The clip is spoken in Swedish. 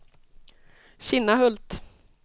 Kinnahult